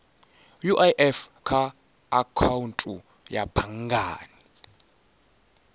uif kha akhaunthu ya banngani